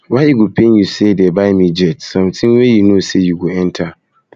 why e go dey pain you say dey buy me jet something wey you no say you go enter